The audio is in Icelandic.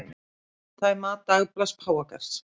Þetta er mat dagblaðs páfagarðs